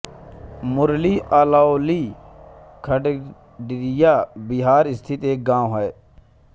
मुरली अलौली खगड़िया बिहार स्थित एक गाँव है